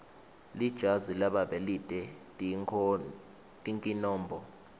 lijazi lababe lite tinkinombo